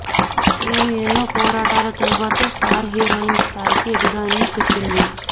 నేను ఎన్నో పోరాటల తరువాత స్టార్ హీరోయిన్ స్థాయికి ఎదిగానని చెప్పింది